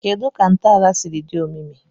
Kedu ka ntọala siri dị omimi?